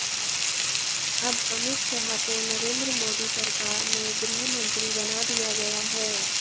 अब अमित शाह को नरेंद्र मोदी सरकार में गृहमंत्री बना दिया गया है